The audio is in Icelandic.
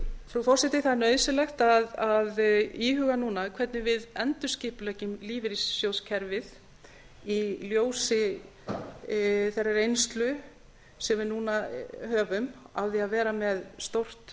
frú forseti það er nauðsynlegt að íhuga núna hvernig við endurskipuleggjum lífeyrissjóðakerfi í ljósi þeirrar reynslu sem við núna höfum af því að vera með stórt